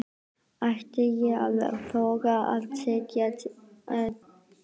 Ætti ég að þora að setjast í hann?